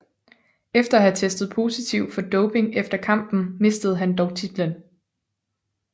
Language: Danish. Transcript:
Efter at have testet positivt for dopning efter kampen mistede han dog titlen